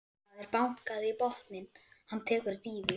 Það er bankað í botninn, hann tekur dýfu.